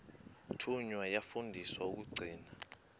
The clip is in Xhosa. thunywa yafundiswa ukugcina